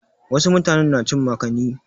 Wasu mutanen na cin makani.